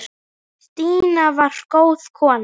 Stína var góð kona.